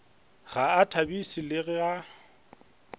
ga a thabiše le ga